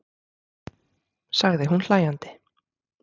sagði hún hlæjandi.